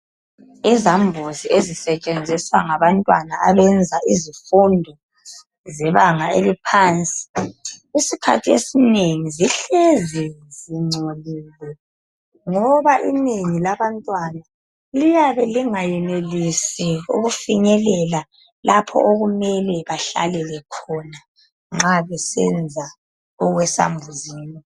Izambuzi ezisetshenziswa ngabantwana abenza izifundo zebanga eliphansi, isikhathi esinengi zihlezi zingcolile ngoba inengi labantwnaa liyabe lingayenelisi ukufinyelela lapho okumele bahlelele khona nxa besenza okwesambuzini.